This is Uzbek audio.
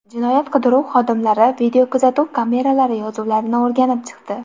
Jinoyat qidiruv xodimlari videokuzatuv kameralari yozuvlarini o‘rganib chiqdi.